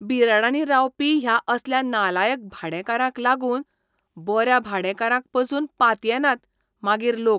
बिराडांनी रावपी ह्या असल्या नालायक भाडेकारांक लागून बऱ्या भाडेकारांक पासून पातयेनात मागीर लोक!